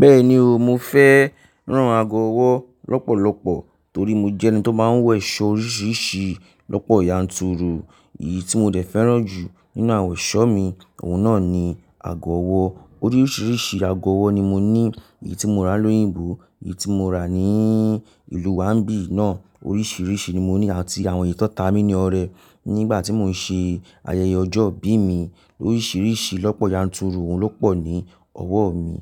Bẹ́ẹ̀ni o, mo fẹ́ rán aago ọwọ́ lọ́pọ̀lọpọ̀ torí mo jẹ́ ẹni tó máa ń wọ̀ ẹ̀sọ́ oríṣiríṣi lọ́pọ̀ yanturu. Èyí tí mo dẹ̀ fẹ́ràn jù nínú àwọn ẹ̀ṣọ́ mi, òun náà ni aago ọwọ́. Oríṣiríṣi aago ọwọ́ ni mo ní, èyí tí mo rà ni ilu óyìnbó, èyí tí mo rà ní ìlú wa biyii náà, oríṣiríṣi ni mo ní àti àwọn èyí ti won ta mí ni ọrẹ nígbà tí mò ń ṣe ayẹyẹ ọjọ́ ìbí mi. Oríṣiríṣi lọ́pọ̀ yanturu òun ló pọ̀ ní ọwọ́ mi.